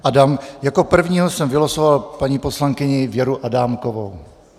Jako první jsem vylosoval paní poslankyni Věru Adámkovou.